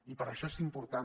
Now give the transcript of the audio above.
i per això és important